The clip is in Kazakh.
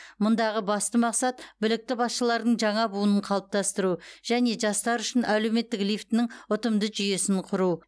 мұндағы басты мақсат білікті басшылардың жаңа буынын қалыптастыру және жастар үшін әлеуметтік лифтінің ұтымды жүйесін құру